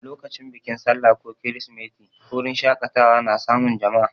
Lokacin bikin sallah ko kirsimeti, wurin shaƙatawa na samun jama'a.